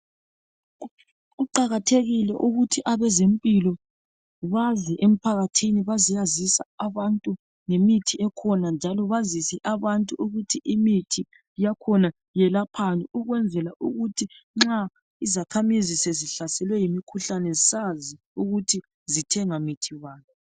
Kuqakathekile ukuthi abezempilo baze emphakathini bazeyazisa abantu ngemithi ekhona njalo bazise abantu ukuthi imithi yakhona yelaphani ukwenzela ukuthi nxa izakhamizi sezihlaselwe yimkhuhlane sazi ukuthi zithenga mithi bani.